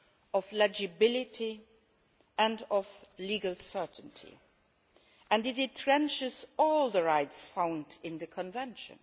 of legibility and of legal certainty, and it entrenches all the rights found in the Convention.